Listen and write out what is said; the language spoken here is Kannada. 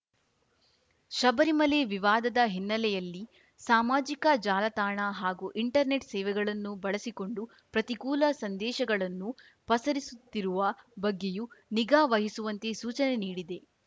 ಶಬರಿಮಲೆ ವಿವಾದದ ಹಿನ್ನೆಲೆಯಲ್ಲಿ ಸಾಮಾಜಿಕ ಜಾಲತಾಣ ಹಾಗೂ ಇಂಟರ್ನೆಟ್‌ ಸೇವೆಗಳನ್ನು ಬಳಸಿಕೊಂಡು ಪ್ರತಿಕೂಲ ಸಂದೇಶಗಳನ್ನು ಪಸರಿಸುತ್ತಿರುವ ಬಗ್ಗೆಯೂ ನಿಗಾ ವಹಿಸುವಂತೆ ಸೂಚನೆ ನೀಡಿದೆ